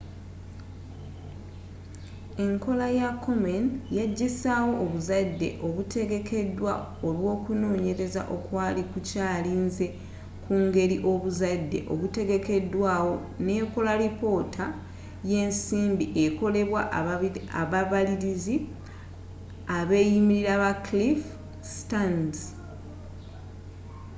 enkola ya komen yagisaawo obuzadde obutegekedwa olwokunonyereza okwali kukyalinze ku ngeri obuzadde obutegekedwa nekola lipoota yensimbi ekolebwa ababaliliz abeyimirira ba cliff stearns